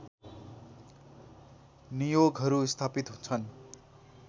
नियोगहरू स्थापित छन्